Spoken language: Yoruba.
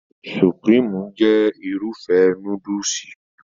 Supirimu jẹ́ Irúfẹ́ núdùsì